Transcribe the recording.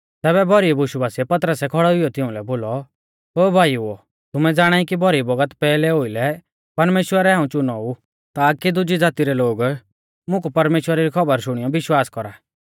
तैबै भौरी बुशु बासिऐ पतरसै खौड़ै हुइयौ तिउंलै बोलौ ओ भाईओ तुमै ज़ाणाई कि भौरी बौगत पैहलै ओउलै परमेश्‍वरै हाऊं चुनो ऊ ताकी दुजी ज़ाती रै लोग मुकु परमेश्‍वरा री खौबर शुणियौ विश्वास कौरा